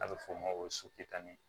A bɛ f'o ma ko